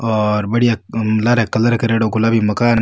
और बढ़िया colour colour करेडो गुलाबी मकान --